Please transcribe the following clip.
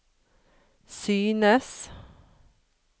synes